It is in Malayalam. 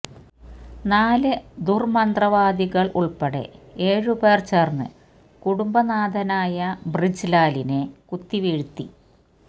നാല് ദുര്മന്ത്രവാദിനികള് ഉള്പ്പെടെ ഏഴു പേര് ചേര്ന്ന് കുടുംബനാഥനായ ബ്രിജ്ലാലിനെ കുത്തിവീഴ്ത്തി